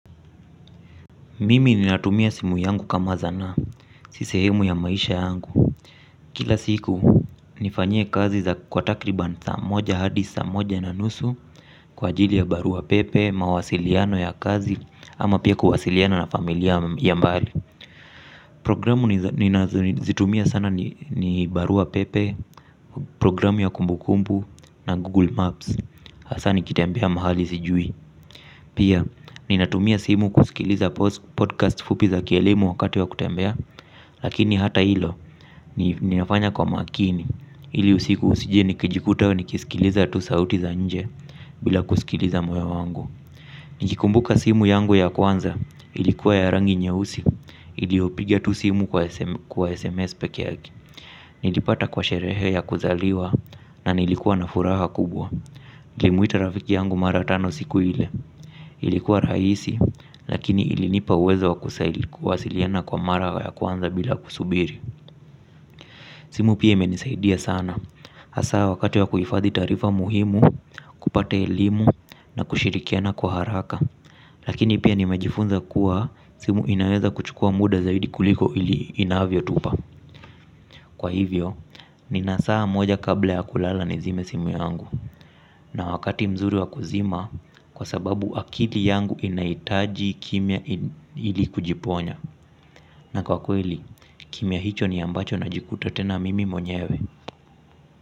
Mimi ninatumia simu yangu kama zanaa, sisehemu ya maisha yangu. Kila siku nifanyie kazi za kwa takriban saa moja hadi saa moja na nusu. Kwa jili ya barua pepe, mawasiliano ya kazi ama pia kuwasiliana na familia ya mbali. Programu ninazitumia sana ni barua pepe, programu ya kumbu kumbu na google maps. Hasaa ni kitembea mahali sijui. Pia, ninatumia simu kusikiliza podcast fupi za kielimu wakati wa kutembea, lakini hata ilo, ninafanya kwa makini, ili usiku usije nikijikuta nikisikiliza tu sauti za nje, bila kusikiliza moyo wangu. Nikikumbuka simu yangu ya kwanza, ilikuwa ya rangi nye usi, iliopiga tu simu kwa SMS peke yake. Nilipata kwa sherehe ya kuzaliwa na nilikuwa na furaha kubwa nlimuita rafiki yangu mara tano siku ile. Ilikuwa rahisi lakini ilinipa uwezo wa kusaili kuwa siliana kwa mara ya kwanza bila kusubiri. Simu pia ime nisaidia sana. Hasaa wakati wa kuhifadhi taarifa muhimu kupata elimu na kushirikiana kwa haraka. Lakini pia nimejifunza kuwa simu inaweza kuchukua muda zaidi kuliko ili inavyo tupa. Kwa hivyo, nina saa moja kabla ya kulala ni zime simu yangu. Na wakati mzuri wa kuzima, kwa sababu akili yangu inahitaji kimya ili kujiponya. Na kwa kweli, kimya hicho ni ambacho na jikuta tena mimi mwenyewe.